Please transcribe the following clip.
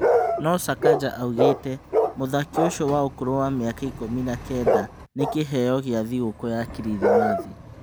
No Sakanja augĩte mũthaki ũcio wa ũkũrũ wa mĩaka ikũmi na-kenda, nĩ "kĩheyo kĩa thigũkũ ya Kirithimathi".